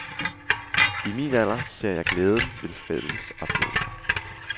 I min alder ser jeg glæden ved fælles oplevelser.